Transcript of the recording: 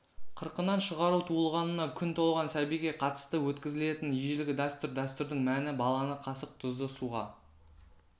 қырқынан шығару туылғанына күн толған сәбиге қатысты өткізілетін ежелгі дәстүр дәстүрдің мәні баланы қасық тұзды суға